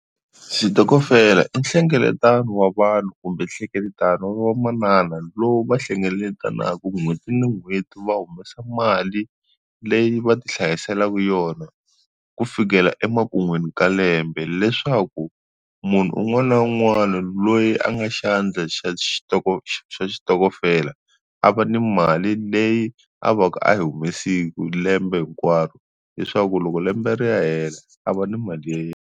Xitokofela i nhlengeletano wa vanhu kumbe nhlengeletano wa va manana lowu va hlengeletanaku n'hweti ni n'hweti va humesa mali leyi va ti hlayiselaku yona ku fikela emakun'wini ka lembe leswaku munhu un'wana na un'wana loyi a nga xandla xa xa xitokofela a va ni mali leyi a va ka a yi humesile lembe hinkwaro leswaku loko lembe ri ya hela a va ni mali ya yena.